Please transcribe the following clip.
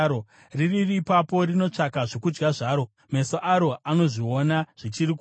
Riri ipapo rinotsvaka zvokudya zvaro; meso aro anozviona zvichiri kure.